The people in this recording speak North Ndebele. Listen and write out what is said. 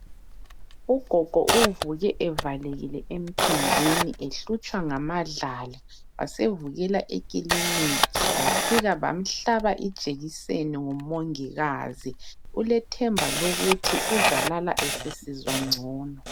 Ugogo uvuke evalekile emphinjeni ehlutshwa ngamadlala. Wasevukela ekiliniki ,bafika bamuhlaba ijekiseni ngumongikazi .Ulethemba lokuthi uzalala esesizwa ngcono .